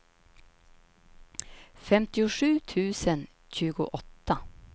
femtiosju tusen tjugoåtta